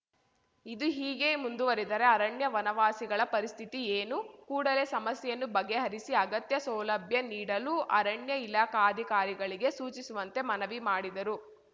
ಇದು ಹೀಗೆ ಮುಂದುವರಿದರೆ ಅರಣ್ಯ ವನವಾಸಿಗಳ ಪರಿಸ್ಥಿತಿ ಏನು ಕೂಡಲೇ ಸಮಸ್ಯೆಯನ್ನು ಬಗೆಹರಿಸಿ ಅಗತ್ಯ ಸೌಲಭ್ಯ ನೀಡಲು ಅರಣ್ಯ ಇಲಾಖಾಧಿಕಾರಿಗಳಿಗೆ ಸೂಚಿಸುವಂತೆ ಮನವಿ ಮಾಡಿದರು